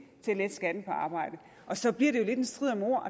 til at lette skatten på arbejde så bliver det jo lidt en strid om ord